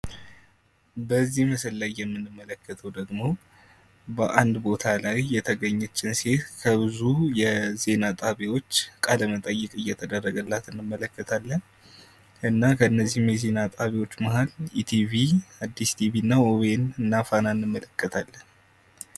በዚህ ምስል ላይ የምንመለከተው ደግሞ በአንድ ቦታ ላይ የተገኘችን ሴት ከብዙ የዜና ጣቢያዎች ቃለመጠይቅ እየተደረገላት አንመለከታለን። እና ከነዚህም የዜና ጣቢያዎች መሃል ኢቲቪ አዲስ ቲቪ እና ወወይኑ እና ፋና ቲቪ እንመለከታለን።